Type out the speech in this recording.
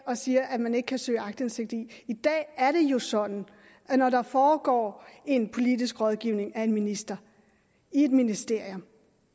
og siger at man ikke kan søge aktindsigt i i dag er det jo sådan at når der foregår en politisk rådgivning af en minister i et ministerium